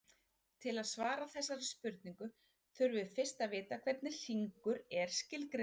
Til að svara þessari spurningu þurfum við fyrst að vita hvernig hringur er skilgreindur.